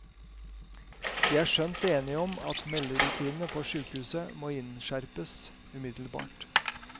De er skjønt enige om at melderutinene på sykehuset må innskjerpes umiddelbart.